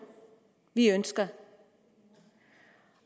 vi ønsker